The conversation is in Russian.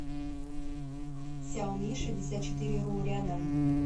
сяомишестьдесятчетыреру рядом